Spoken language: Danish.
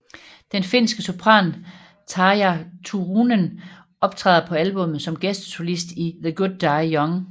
Den finske sopran Tarja Turunen optræder på albummet som gæstesolist i The Good Die Young